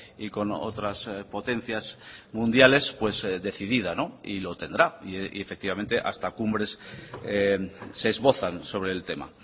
y con otras potencias mundiales pues decidida y lo tendrá y efectivamente hasta cumbres se esbozan sobre el tema